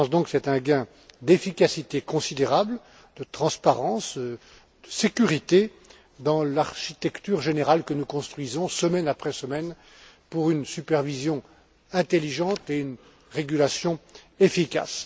Je pense donc que c'est un gain d'efficacité considérable, de transparence et de sécurité dans l'architecture générale que nous construisons semaine après semaine pour une supervision intelligente et une régulation efficace.